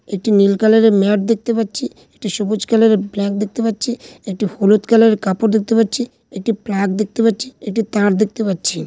একটি নীল কালার এর ম্যাপ দেখতে পাচ্ছি । একটি সবুজ কালার এর ব্ল্যাক দেখতে পাচ্ছি । একটি হলুদ কালার এর কাপড় দেখতে পাচ্ছি। একটি প্লাগ দেখতে পাচ্ছি। একটি তার দেখতে পাচ্ছি।